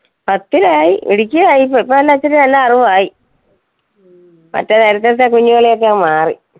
പത്തിലായി മിടുക്കി ആയി ഇപ്പൊ എല്ലാം ഇച്ചിരി നല്ല അറിവായി, മറ്റേ നേരത്തത്തെ കുഞ്ഞുകളി ഒക്കെ അങ്ങ് മാറി.